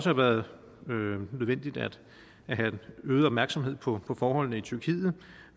har været nødvendigt at have øget opmærksomhed på forholdene i tyrkiet